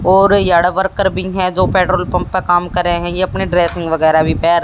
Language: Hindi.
और वर्कर भी है जो पेट्रोल पंप प काम करें हैं ये अपने ड्रेसिंग वगैरा भी पहे--